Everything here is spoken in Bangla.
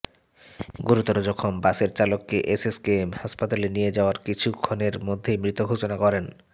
গুরুতর জখম বাসের চালককে এসএসকেএম হাসপাতালে নিয়ে যাওয়ার কিছু ক্ষণের মধ্যেই মৃত ঘোষণা করেন